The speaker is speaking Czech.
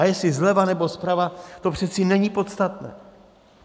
A jestli zleva, nebo zprava, to přece není podstatné.